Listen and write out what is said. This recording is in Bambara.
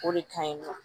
O de ka ɲi nɔ